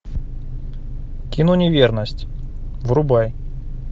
кино неверность врубай